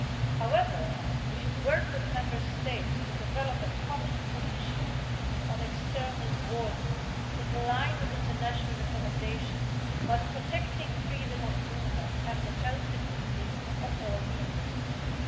However, we should work with Member States to develop a common position on external borders in line with international recommendations, whilst protecting freedom of movement and the health security of all EU citizens.